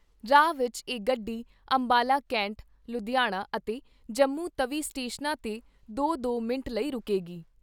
ਰਾਹ ਵਿਚ ਇਹ ਗੱਡੀ ਅੰਬਾਲਾ ਕੈਂਟ, ਲੁਧਿਆਣਾ ਅਤੇ ਜੰਮੂ ਚੌਵੀ ਸਟੇਸ਼ਨਾਂ 'ਤੇ ਦੋ ਦੋ ਮਿੰਟ ਲਈ ਰੁਕੇਗੀ।